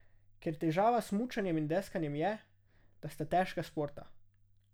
Ker težava s smučanjem in deskanjem je, da sta težka športa.